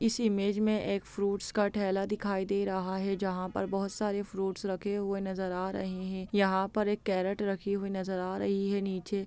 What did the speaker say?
इस इमेज में एक फ्रूट्स का ठेला दिखाई दे रहा है जहाँ पर बहुत सारे फ्रूट्स रखे हुए नजर आ रहे है यहाँ पर एक केरेट रखी हुई नजर आ रही है नीचे--